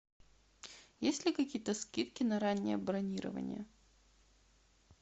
есть ли какие то скидки на раннее бронирование